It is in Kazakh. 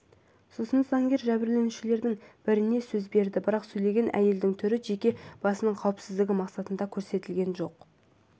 сосын заңгер жәбірленушілердің біріне сөз берді бірақ сөйлеген әйелдің түрі жеке басының қауіпсіздігі мақсатында көрсетілген жоқ